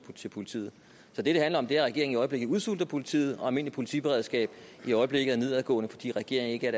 til politiet så det det handler om er at regeringen i øjeblikket udsulter politiet og at almindeligt politiberedskab i øjeblikket er for nedadgående fordi regeringen ikke er